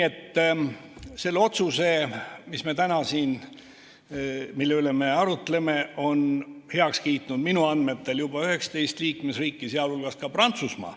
Selle otsuse, mille üle me arutleme, on minu andmetel heaks kiitnud juba 19 liikmesriiki, sh Prantsusmaa.